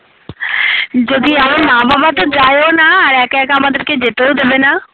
আমার মা বাবা তো যায়ও না আর একা একা আমাদেরকে যেতেও দেবে না